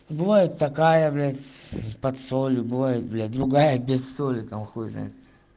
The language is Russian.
бывает такая блядь под солью бывает блять другая без соли там хуй знает